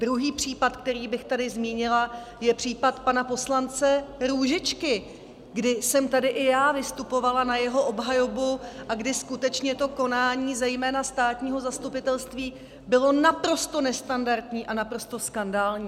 Druhý případ, který bych tady zmínila, je případ pana poslance Růžičky, kdy jsem tady i já vystupovala na jeho obhajobu a kdy skutečně to konání zejména státního zastupitelství bylo naprosto nestandardní a naprosto skandální.